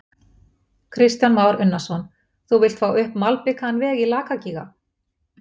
Kristján Már Unnarsson: Þú vilt fá upp malbikaðan veg í Lakagíga?